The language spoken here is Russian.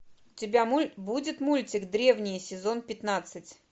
у тебя будет мультик древние сезон пятнадцать